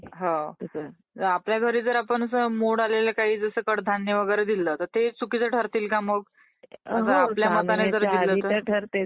हम्म .. आपल्या घरी जर आपण असं मोड आलेल काही , जसं कडधान्य वगैरे दिलं तर ते चुकीच ठरतील का मग ? आपल्या मताने दिल तर मग?